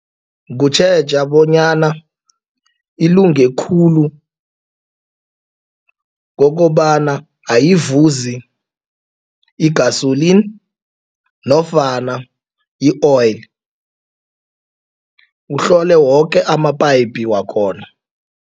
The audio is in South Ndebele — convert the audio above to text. Kutjheja bonyana ilunge khulu kokobana ayivuzi i-gasoline nofana i-oil. Uhlole woke ama- pipe wakhona.